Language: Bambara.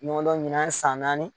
Ɲɔgɔn dɔn nin y'a san naani